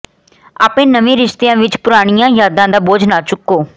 ਆਪਣੇ ਨਵੇਂ ਰਿਸ਼ਤਿਆਂ ਵਿਚ ਪੁਰਾਣੀਆਂ ਯਾਦਾਂ ਦਾ ਬੋਝ ਨਾ ਚੁੱਕੋ